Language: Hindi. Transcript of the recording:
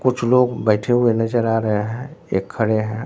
कुछ लोग बैठे हुए नजर आ रहे हैं एक खड़े हैं।